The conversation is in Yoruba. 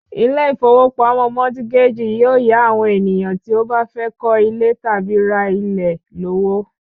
Ilé ìfowópamọ́ mọtígájì yóò yá àwọn ènìyàn ènìyàn tí ó bá fẹ́ kọ́ ilé tàbí ra ilẹ̀ lówó